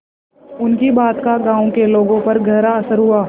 उनकी बात का गांव के लोगों पर गहरा असर हुआ